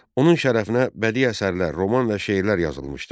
Onun şərəfinə bədi əsərlər, roman və şeirlər yazılmışdı.